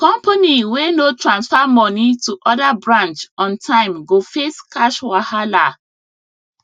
company wey no transfer money to other branch on time go face cash wahala